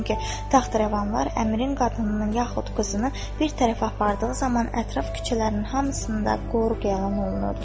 Çünki taxt-rəvanlar əmrin qadınının yaxud qızını bir tərəfə apardığı zaman ətraf küçələrinin hamısında qoruq yalan olunurdu.